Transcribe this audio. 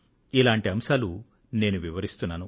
ఇలాంటి అంశాలు నేను వివరిస్తున్నాను